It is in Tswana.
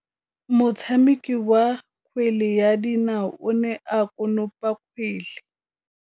Motshameki wa kgwele ya dinaô o ne a konopa kgwele.